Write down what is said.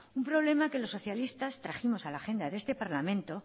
un problema que los socialistas trajimos a la agenda de este parlamento